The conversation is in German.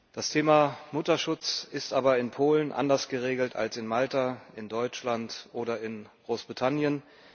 Das Thema Mutterschutz ist aber in Polen anders geregelt als in Malta, in Deutschland oder in Großbritannien.